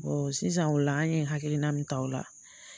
sisan o la an ye hakilina min ta o la